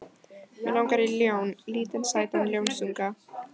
Mig langar í ljón, lítinn sætan ljónsunga.